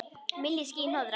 Milli ský- hnoðra.